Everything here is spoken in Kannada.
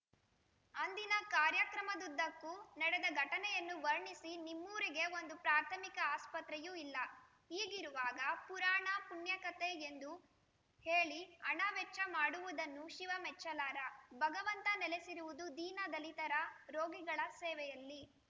ಅಂದಿನ ಕಾರ್ಯಕ್ರಮದುದ್ದಕ್ಕೂ ನಡೆದ ಘಟನೆಯನ್ನು ವರ್ಣಿಸಿ ನಿಮ್ಮೂರಿಗೆ ಒಂದು ಪ್ರಾಥಮಿಕ ಆಸ್ಪತ್ರೆಯೂ ಇಲ್ಲ ಹೀಗಿರುವಾಗ ಪುರಾಣ ಪುಣ್ಯಕಥೆ ಎಂದು ಹೇಳಿ ಹಣ ವೆಚ್ಚ ಮಾಡುವುದನ್ನು ಶಿವ ಮೆಚ್ಚಲಾರ ಭಗವಂತ ನೆಲೆಸಿರುವುದು ದೀನ ದಲಿತರ ರೋಗಿಗಳ ಸೇವೆಯಲ್ಲಿ